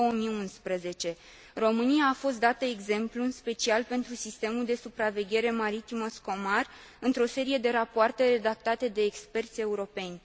2011. România a fost dată exemplu în special pentru sistemul de supraveghere maritimă SCOMAR într o serie de rapoarte redactate de experți europeni.